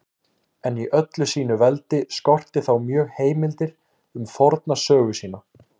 En í öllu sínu veldi skorti þá mjög heimildir um forna sögu sína.